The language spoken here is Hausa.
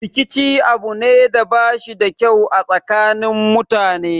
Rikici abu ne da bashi da kyau a tsakanin mutane